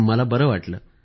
मला बरं वाटलं